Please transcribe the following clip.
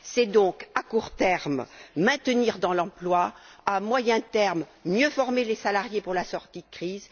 C'est donc, à court terme, maintenir dans l'emploi à moyen terme, mieux former les salariés pour la sortie de crise